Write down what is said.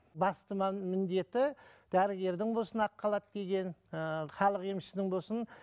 басты міндеті дәрігердің болсын ақ халат киген ыыы халық емшісінің болсын